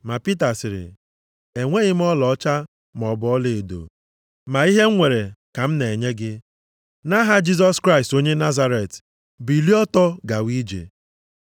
Ma Pita sịrị, “Enweghị m ọlaọcha maọbụ ọlaedo ma ihe m nwere ka m na-enye gị. Nʼaha Jisọs Kraịst onye Nazaret bilie ọtọ gawa ije.”